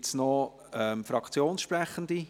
Gibt es noch Fraktionssprechende?